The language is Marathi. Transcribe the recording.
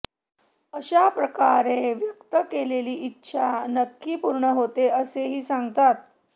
अशा प्रकारे व्यक्त केलेली इच्छा नक्की पूर्ण होते असेही सांगतात